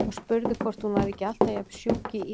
Og spurði hvort hún væri ekki alltaf jafn sjúk í ís.